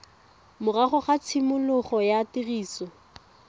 morago ga tshimologo ya tiriso